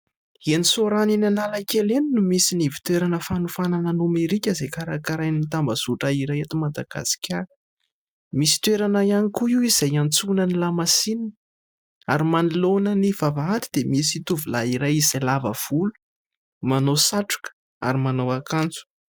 Eny Soarano eny Analakely eny no misy ny ivontoerana fanofanana nomerika izay karakarain'ny tambazotra iray eto Madagasikara. Misy toerana ihany koa io izay hiantsonan'ny lamasinina ary manoloana ny vavahady dia misy tovolahy iray izay lava volo, manao satroka ary manao akanjo.